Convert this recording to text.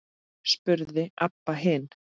spurði Abba hin.